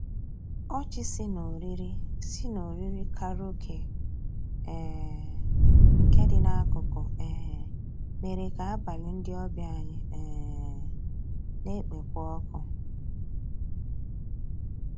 Ọchị sì n'òrìrì sì n'òrìrì kàráòké um nkè dị n'akụkụ um mèrè kà àbàlí ndị ọbìà anyị um nà-ekpékwa ọkụ.